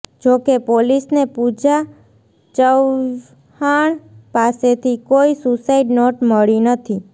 જો કે પોલીસને પૂજા ચવ્હાણ પાસેથી કોઈ સુસાઇડ નોટ મળી નથી